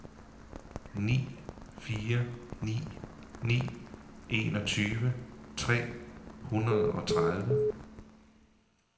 ni fire ni ni enogtyve tre hundrede og tredive